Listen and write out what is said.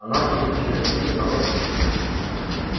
она тут такие звуки издавала